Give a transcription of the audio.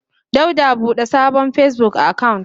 Dauda bude sabon Facebook account.